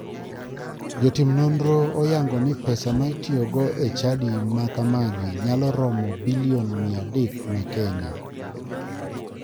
Jotim nonro oyango ni pesa ma itoyogo e chadi ma kamagi nyalo romo bilion 300 ma kenya.